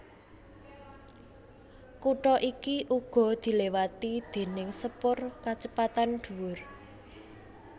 Kutha iki uga diliwati déning sepur kacepetan dhuwur